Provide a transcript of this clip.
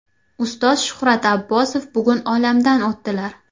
Ustoz Shuhrat Abbosov bugun olamdan o‘tdilar.